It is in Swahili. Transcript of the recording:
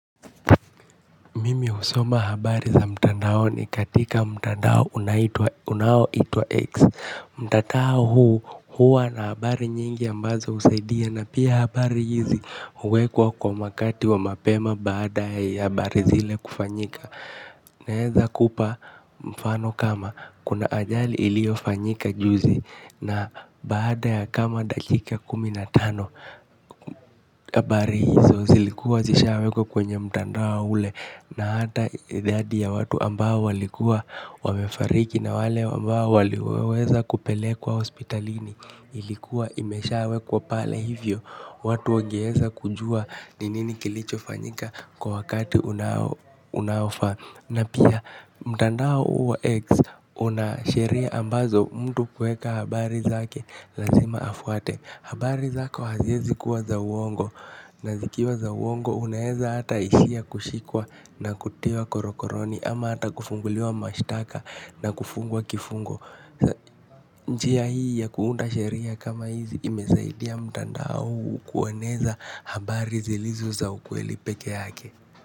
Mimi husoma habari za mtandaoni katika mtandao unaoitwa X. Mtandao huu huwa na habari nyingi ambazo husaidia na pia habari hizi huwekwa kwa wakati wa mapema baada ya habari zile kufanyika. Naweza kupa mfano kama kuna ajali iliyofanyika juzi na baada ya kama dakika kumi na tano. Habari hizo zilikuwa zishawekwa kwenye mtandao ule na hata idadi ya watu ambao walikuwa wamefariki na wale ambao waliweza kupelekwa hospitalini ilikuwa imeshawekwa pale. Hivyo watu wangeweza kujua ni nini kilichofanyika kwa wakati unao unaofaa. Na pia mtandao huu wa X unasheria ambazo mtu kuweka habari zake lazima afuate, habari zako haziwezi kuwa za uongo na zikiwa za uongo unaweza hata ishia kushikwa na kutiwa korokoroni ama hata kufunguliwa mashtaka na kufungwa kifungo. Njia hii ya kuunda sheria kama hizi imesaidia mtandao huu kueneza habari zilizo za ukweli pekee yake.